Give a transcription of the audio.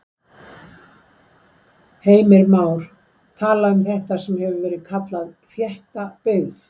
Heimir Már:. tala um þetta sem hefur verið kallað þétta byggð?